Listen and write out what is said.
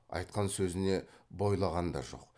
айтқан сөзіне бойлаған да жоқ